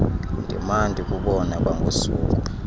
ndimana ndikubona kwangosuku